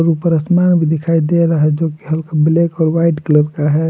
ऊपर आसमान भी दिखाई दे रहा है जो कि हल्का ब्लैक और वाइट कलर का है।